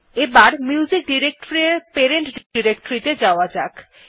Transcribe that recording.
এখন music directory এর parent directory ত়ে যাওয়া যাক